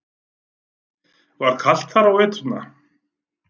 Var kalt þar á veturna?